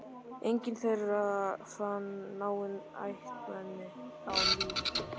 Enginn þeirra fann náin ættmenni á lífi.